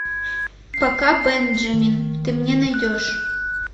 пока бенджамин ты мне найдешь